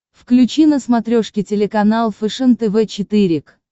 включи на смотрешке телеканал фэшен тв четыре к